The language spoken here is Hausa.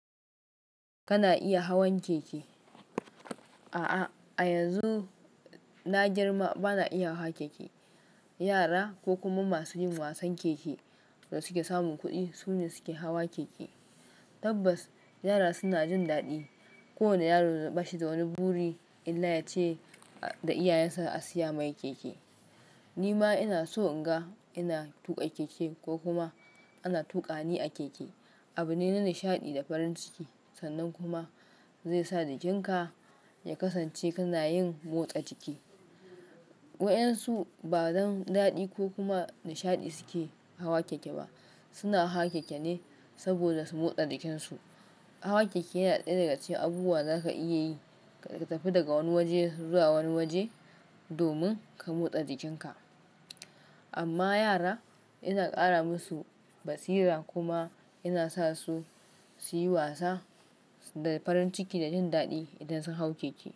Kana iya hawan keke. A'a, a yanzu na girma, bana iya hawa keke. Yara ko kuma masu yin wasan keke da suke samun kuɗi sune suke hawa keke. Tabbas, yara suna jin daɗi. Kowane yaro ba shi da wani buri illa ya ce da iyayensa a siya mai keke. Nima ina son naga ina tuka keke ko kuma ana tuka ni a keke. Abune na nishaɗi da farin ciki sannan kuma zai sa jikin ka ya kasance kana yin motsa jiki. Wa'yansu ba don daɗi ko kuma nishaɗi suke hawa keke ba. Suna hawa keke ne saboda su motsa jikinsu. Hawa keke yana ɗaya daga cikin abubuwa zaka iya yi ka tafi daga wani waje zuwa wani waje domin ka motsa jikinka. Amma yara yana ƙara masu basira kuma yana sa su su yi wasa da farin ciki da jin daɗi idan sun hau keke.